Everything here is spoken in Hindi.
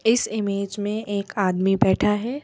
इस इमेज में एक आदमी बैठा है।